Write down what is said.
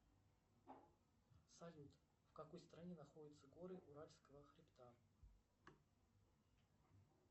салют в какой стране находятся горы уральского хребта